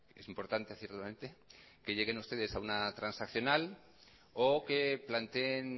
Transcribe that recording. es importante ciertamente que lleguen ustedes a una transaccional o que planteen